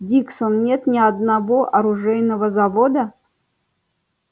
диксон нет ни одного оружейного завода